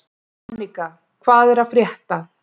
Anika, hvað er að frétta?